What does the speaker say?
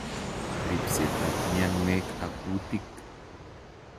RIPSETAB MIANWEK AK KUTIK